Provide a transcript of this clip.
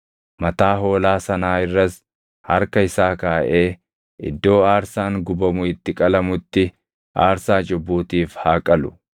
Mataa hoolaa sanaa irras harka isaa kaaʼee iddoo aarsaan gubamu itti qalamutti aarsaa cubbuutiif haa qalu.